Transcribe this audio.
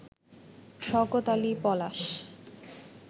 Shawkat Ali Palash